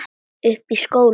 Uppi í skóla?